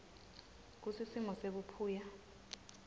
kutsi simo sebuphuya